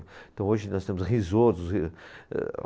Então hoje nós temos risotos, ri, âh